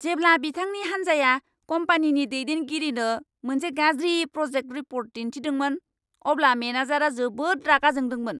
जेब्ला बिथांनि हान्जाया कम्पानिनि दैदेनगिरिनो मोनसे गाज्रि प्रजेक्ट रिपर्ट दिन्थिदोंमोन, अब्ला मेनेजारा जोबोद रागा जोंदोंमोन।